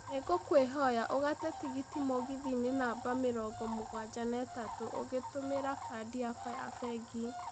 nĩ ngũkũhoya ugate tigiti mũgithi-inĩ namba mĩrongo mũgwanja na ĩtatũ ungĩtumira Kadi yakwa ya bengĩ